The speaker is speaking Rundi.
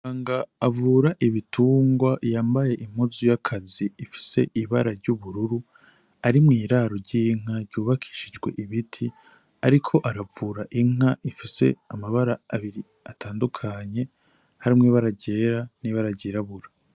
Umuganga avura ibitungwa yambaye impuzu y'akazi ifise ibara ry'ubururu, ari mw'iraro ry'inka ryubakishijwe ibiti, ariko aravura inka ifise amabara abiri atandukanye, harimwo ibara ryera n'ibara ryirabura.